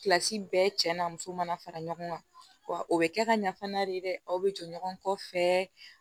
Kilasi bɛɛ cɛ n'a muso mana fara ɲɔgɔn kan wa o bɛ kɛ ka ɲa fana de dɛ aw bɛ jɔ ɲɔgɔn kɔ fɛ